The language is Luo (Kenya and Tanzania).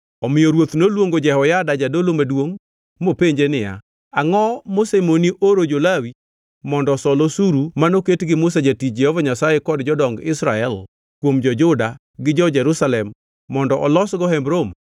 Omiyo ruoth noluongo Jehoyada jadolo maduongʼ mopenje niya, “Angʼo mosemoni oro jo-Lawi mondo osol osuru manoket gi Musa jatich Jehova Nyasaye kod jodong Israel kuom jo-Juda gi jo-Jerusalem mondo olosgo Hemb Romo?”